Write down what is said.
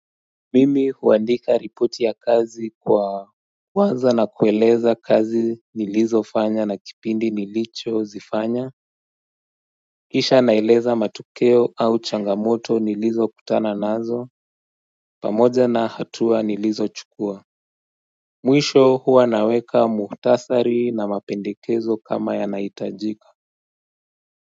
Mimi huandika ripoti ya kazi kwa huwanza na kueleza kazi nilizo fanya na kipindi nilicho zifanya Kisha naeleza matukeo au changamoto nilizo kutana nazo pamoja na hatua nilizo chukua Mwisho huwa naweka muhtasari na mapendekezo kama yanaitajika.